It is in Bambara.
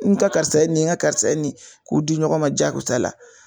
N ka karisa ye nin ye n ka karisa ye nin ye k'u di ɲɔgɔn ma diyagosa la